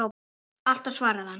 Alltaf svaraði hann.